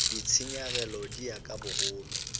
ditshenyegelo di ya ka bogolo